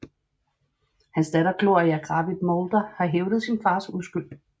Hans datter Gloria Gravitt Moulder har hævdet sin fars uskyld